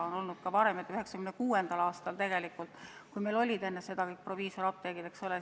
Enne 1996. aastat meil olid kõik proviisoriapteegid.